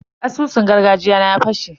Asusun gargajiya na ya fashe.